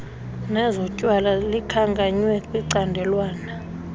nezotywala likhankanywe kwicandelwana